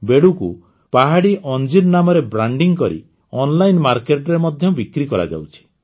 ବେଡ଼ୁକୁ ପାହଡ଼ି ଅଂଜୀର ନାମରେ ବ୍ରାଣ୍ଡିଂ କରି ଅନଲାଇନ ମାର୍କେଟରେ ବି ବିକ୍ରି କରାଯାଉଛି